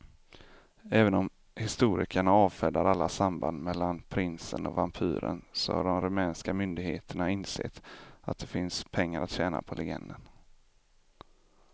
Även om historikerna avfärdar alla samband mellan prinsen och vampyren så har de rumänska myndigheterna insett att det finns pengar att tjäna på legenden.